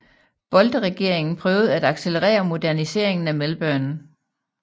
Bolte regeringen prøvede at accelerere moderniseringen af Melbourne